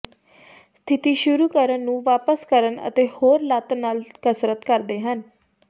ਸਥਿਤੀ ਸ਼ੁਰੂ ਕਰਨ ਨੂੰ ਵਾਪਸ ਕਰਨ ਅਤੇ ਹੋਰ ਲੱਤ ਨਾਲ ਕਸਰਤ ਕਰਦੇ ਹਨ